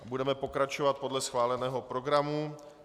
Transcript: Budeme pokračovat podle schváleného programu.